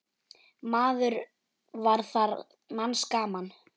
Maður var þar manns gaman.